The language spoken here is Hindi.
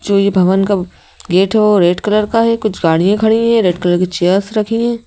जो ये भवन का गेट है वो रेड कलर का है कुछ गाड़ियां खड़ी हैं रेड कलर की चेयर्स रखी हैं।